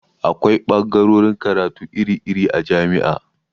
Akwai ɓagarorin karatu iri iri a jami'a